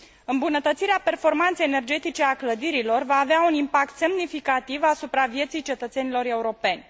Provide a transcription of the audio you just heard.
Îmbunătățirea performanței energetice a clădirilor va avea un impact semnificativ asupra vieții cetățenilor europeni.